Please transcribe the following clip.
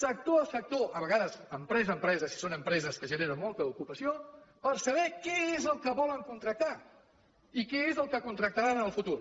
sector a sector a vegades empresa a empresa si són empreses que generen molta ocupació per saber què és el que volen contractar i què és el que contractaran en el futur